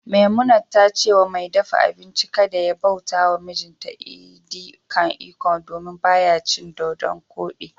Memunant ta ce wa mai dafa abinci kada ya bauta wa mijinta edi kan ikong, domin ba ya cin dodonkodi